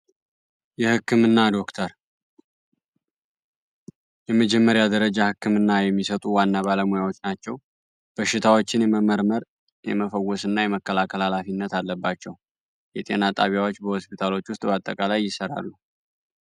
የ ሕክምና ዶክተር የ መጀመሪያ ደረጃ የሚሰጡ ዋና ባለሞያዎች ናቸው በሺታውቺን የምመርመር የመፈወስ እና የመከላከል ኃላፊነት አለባቸው የጤና ጣቢያዎች በሆስፒታሎች ዉስጥ በ አጠቃላይ ይሰራሉ ።